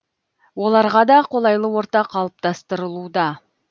оларға да қолайлы орта қалыптастырылуда